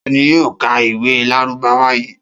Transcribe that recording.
Ta ni yóò ka ìwé Lárúbáwá yìí?